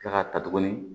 Kila k'a ta tuguni